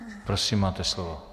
Prosím, máte slovo.